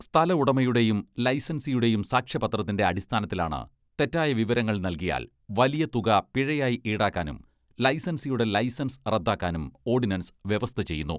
സ്ഥല ഉടമയുടെയും ലൈസൻസിയുടെയും സാക്ഷ്യപത്രത്തിന്റെ അടിസ്ഥാനത്തിലാണ് തെറ്റായ വിവരങ്ങൾ നൽകിയാൽ വലിയ തുക പിഴയായി ഈടാക്കാനും ലൈസൻസിയുടെ ലൈസൻസ് റദ്ദാക്കാനും ഓഡിനൻസ് വ്യവസ്ഥ ചെയ്യുന്നു.